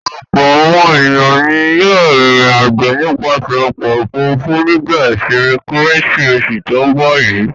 Ọ̀pọ̀ àwọn ènìyàn ni yóò rìnrìn-àjò nípasẹ̀ ọkọ̀-òfurufú nígbà ìsìnmi kKérésìmesì tó ń bọ̀ yìí.